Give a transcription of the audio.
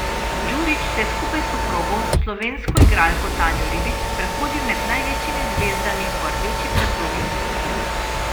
Djurić se je skupaj s soprogo, slovensko igralko Tanjo Ribič, sprehodil med največjimi zvezdami po rdeči preprogi Oskarjev.